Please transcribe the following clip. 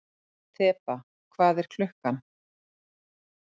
Þeba, hvað er klukkan?